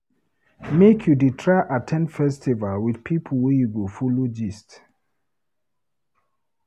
Make you try dey at ten d festival wit pipo wey you go folo gist.